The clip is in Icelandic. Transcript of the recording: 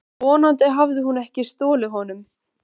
Vonandi hafði hún ekki stolið honum.